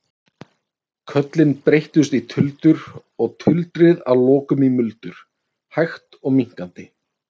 Köllin breyttust í tuldur og tuldrið að lokum í muldur, hægt og minnkandi.